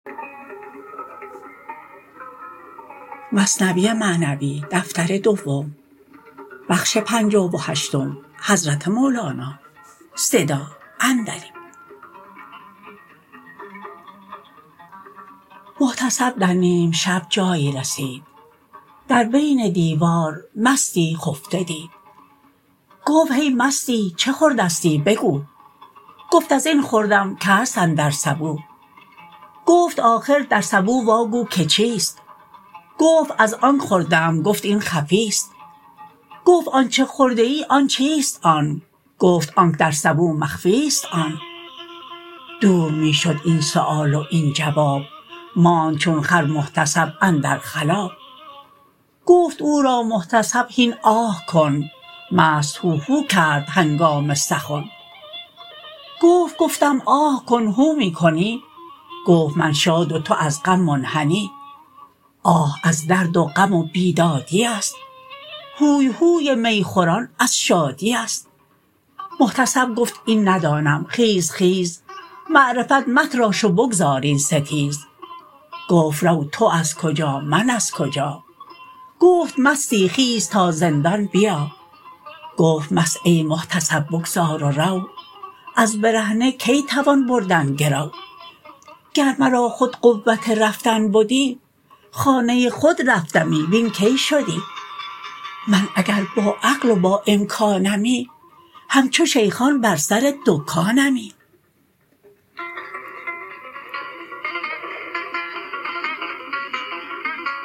محتسب در نیم شب جایی رسید در بن دیوار مستی خفته دید گفت هی مستی چه خوردستی بگو گفت ازین خوردم که هست اندر سبو گفت آخر در سبو واگو که چیست گفت از آنک خورده ام گفت این خفیست گفت آنچ خورده ای آن چیست آن گفت آنک در سبو مخفیست آن دور می شد این سؤال و این جواب ماند چون خر محتسب اندر خلاب گفت او را محتسب هین آه کن مست هوهو کرد هنگام سخن گفت گفتم آه کن هو می کنی گفت من شاد و تو از غم منحنی آه از درد و غم و بیدادیست هوی هوی می خوران از شادیست محتسب گفت این ندانم خیز خیز معرفت متراش و بگذار این ستیز گفت رو تو از کجا من از کجا گفت مستی خیز تا زندان بیا گفت مست ای محتسب بگذار و رو از برهنه کی توان بردن گرو گر مرا خود قوت رفتن بدی خانه خود رفتمی وین کی شدی من اگر با عقل و با امکانمی همچو شیخان بر سر دکانمی